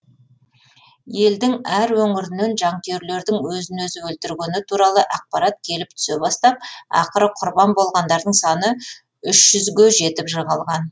елдің әр өңірінен жанкүйерлердің өзін өзі өлтіргені туралы ақпараттар келіп түсе бастап ақыры құрбан болғандардың саны үш жүзге жетіп жығылған